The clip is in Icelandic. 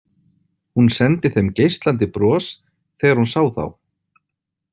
Hún sendi þeim geislandi bros þegar hún sá þá.